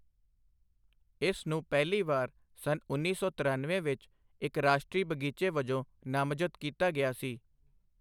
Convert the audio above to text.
ਇਸ ਨੂੰ ਪਹਿਲੀ ਵਾਰ ਸੰਨ ਉੱਨੀ ਸੌ ਤਿਰਨਵੇਂ ਵਿੱਚ ਇੱਕ ਰਾਸ਼ਟਰੀ ਬਗ਼ੀਚੇ ਵਜੋਂ ਨਾਮਜ਼ਦ ਕੀਤਾ ਗਿਆ ਸੀ।